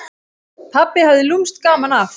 Pabbi hafði lúmskt gaman af.